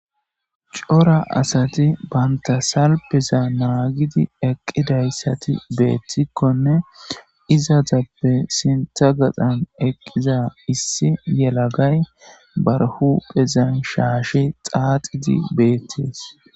Cora asati banta salpeza naagidi eqqidayssati beettikkonne izaatappe sintha gaxan eqqiza issi yelagay barhu phezan shaashe xaaxidi beettees.